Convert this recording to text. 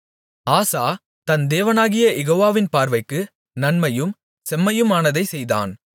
ஆசா தன் தேவனாகிய யெகோவாவின் பார்வைக்கு நன்மையும் செம்மையுமானதைச் செய்தான்